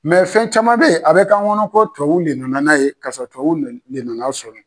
fɛn caman bɛ ye a bɛ k'an ŋɔnɔ ko tuwawuw le nana n'a ye kasɔrɔ tuwawu le de nan'a sɔrɔ.